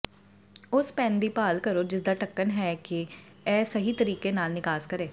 ਉਸ ਪੈਨ ਦੀ ਭਾਲ ਕਰੋ ਜਿਸਦਾ ਢੱਕਣ ਹੈ ਕਿ ਇਹ ਸਹੀ ਤਰੀਕੇ ਨਾਲ ਨਿਕਾਸ ਕਰੇ